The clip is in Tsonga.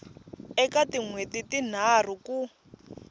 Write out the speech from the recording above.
eka tin hweti tinharhu ku